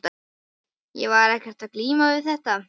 Ég var ekkert að glíma við þetta.